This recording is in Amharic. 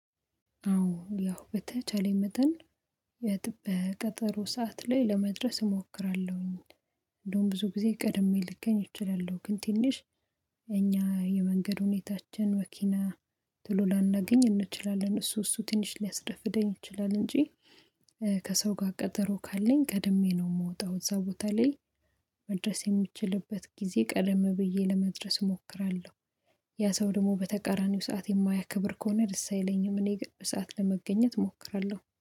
አዎ ያው በተቻለኝ መጠን በጥ በቀጠሮ ሰዓት ላይ ለመድረስ እሞክራለሁኝ። ብዙ ጊዜ ቀድሜ ልገኝ እችላለሁ ግን ትንሽ እኛ የመንገድ ሁኔታችን መኪና ቶሎ ላናገኝ እንችላለን እሱ እሱ ትንሽ ሊያስረፍደኝ ይችላል። እንጂ ከሰው ጋር ቀጠሮ ካለኝ ቀድሜ ነው የምወጣው እዛ ቦታ ላይ መድረስ የምችልበት ጊዜ ቀደም ብዬ ለመድረስ እሞክራለሁ። ያ ሰው ደግሞ በተቃራኒው ሰዓት የማያከብር ከሆነ ደስ አይለኝም እኔ ግን ሰዓት ለመገኘት እሞክራለሁ